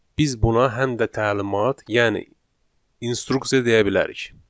Biz buna həm də təlimat, yəni instruksiya deyə bilərik.